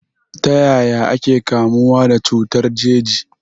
Ta yaya ake kamuwa da cutar jeji?